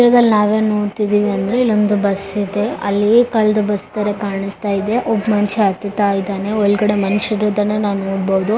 ಚಿತ್ರದಲ್ಲಿ ನಾವು ಏನ್ ನೋಡತ್ತಿದಿವಿ ಅಂದ್ರೆ ಇಲ್ಲೊಂದು ಬಸ್ ಇದೆ ಅಲ್ಲಿ ಕಳ್ಳದ್ ಬಸ್ ತರ ಕಾಣಸ್ತಾ ಇದೆ ಒಬ್ಬ ಮನುಷ್ಯ ಹತ್ತತಾ ಇದಾನೆ ಒಳಗಡೆ ಮನುಷ್ಯರು ಇರೋದನ್ನ ನಾವು ನೋಡಬಹುದು .